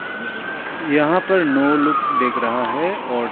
यहां पर नौ लोग दिख रहा है और--